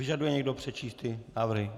Vyžaduje někdo přečíst ty návrhy?